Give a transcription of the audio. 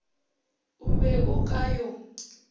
o be o ka yo